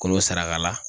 Kolo saraka